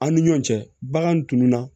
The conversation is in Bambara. An ni ɲɔn cɛ bagan tununa